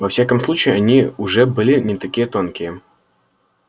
во всяком случае они уже были не такие тонкие